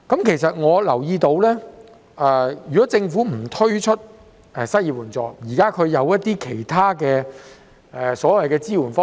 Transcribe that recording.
其實，我留意到政府可能不推出失業援助，而提出其他支援方式。